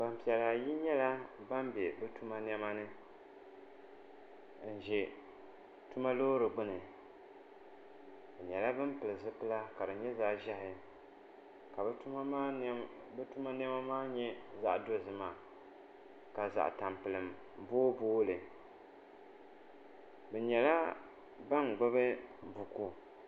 Gbanpiɛla ayi nyɛla ban bɛ bi tuma niɛma ni n ʒɛ bi tuma Loori gbuni bi nyɛla bin pili zipila ka di nyɛ zaɣ ʒiɛhi ka bi tuma niɛma maa nyɛ zaɣ dozima ka zaɣ tampilim booi booi li bi nyɛla ban gbubi buku